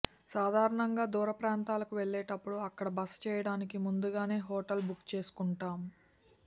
సాధారణంగా దూరప్రాంతాలకు వెళ్లేటప్పుడు అక్కడ బస చేయడానికి ముందుగానే హోటల్ బుక్ చేసుకుంటాం